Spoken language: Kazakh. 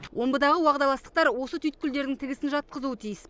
омбыдағы уағдаластықтар осы түйткілдердің тігісін жатқызуы тиіс